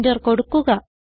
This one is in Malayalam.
എന്റർ കൊടുക്കുക